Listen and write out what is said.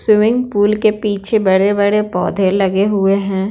Swimming pool के पीछे बड़े-बड़े पौधे लगे हुए हैं।